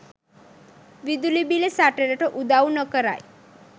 විදුලි බිල සටනට උදව් නොකරයි.